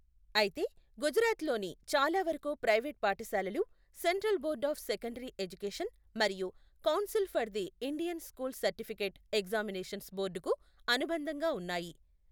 అయితే, గుజరాత్లోని చాలావరకు ప్రైవేట్ పాఠశాలలు central board of secondary education, మరియు council for the Indian school certificate examinations బోర్డుకు అనుబంధంగా ఉన్నాయి.